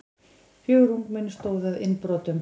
Fjögur ungmenni stóðu að innbrotum